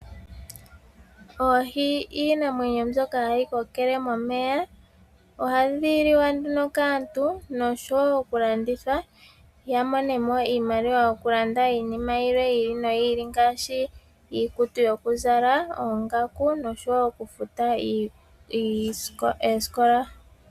Oohi iinamwenyo mbyoka hayi kokele momeya. Ohadhi liwa nduno kaantu noshowo okulanditha ya mone mo iimaliwa okulanda iinima yilwe yi ili noyi ili ngaashi iikutu yokuzala, oongaku noshowo okufuta oosikola.